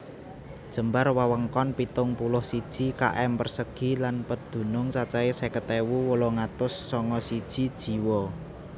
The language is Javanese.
Jembar wewengkon pitung puluh siji km persegi lan pedunung cacahé seket ewu wolung atus sanga siji jiwa